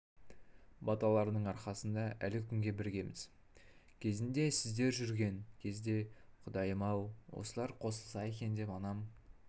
баталарының арқасында әлі күнге біргеміз кезінде сіздер жүрген кезде құдайым-ау осылар қосылса екен деп анам